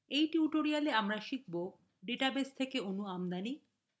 in tutorial আমরা শিখব: database থেকে অণু আমদানি